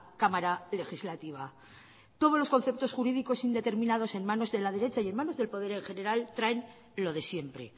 cámara legislativa todos los conceptos jurídicos indeterminados en manos de la derecha y en manos del poder en general traen lo de siempre